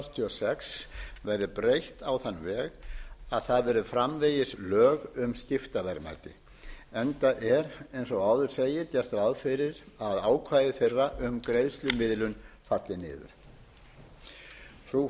sex verði breytt á þann veg að það verði framvegis lög um skiptaverðmæti enda er eins og áður segir gert ráð fyrir að ákvæði þeirra um greiðslumiðlun falli niður frú